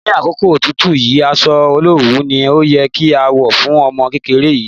Ní àkókò òtútù yìí, aṣọ olowu ni ó yẹ kí a wọ̀ fún ọmọ kékeré yìí.